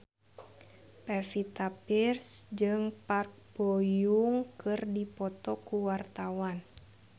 Pevita Pearce jeung Park Bo Yung keur dipoto ku wartawan